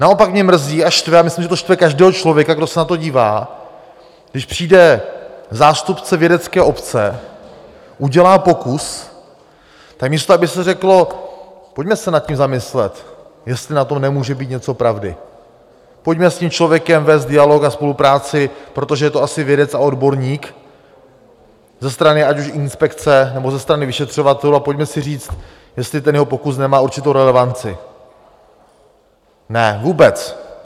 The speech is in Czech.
Naopak mě mrzí a štve, a myslím, že to štve každého člověka, kdo se na to dívá, když přijde zástupce vědecké obce, udělá pokus, tak místo aby se řeklo: Pojďme se nad tím zamyslet, jestli na tom nemůže být něco pravdy, pojďme s tím člověkem vést dialog a spolupráci, protože je to asi vědec a odborník, ze strany ať už inspekce, nebo ze strany vyšetřovatelů, a pojďme si říct, jestli ten jeho pokus nemá určitou relevanci - ne, vůbec.